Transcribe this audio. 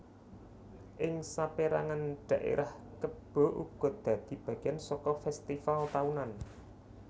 Ing sapérangan dhaérah kebo uga dadi bagéan saka fèstival taunan